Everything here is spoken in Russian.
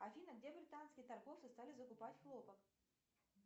афина где британские торговцы стали закупать хлопок